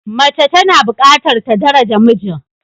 Mace tana bukatar ta daraja mijin.